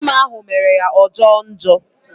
Afọ ime ahụ mere ya ọ jọo njọ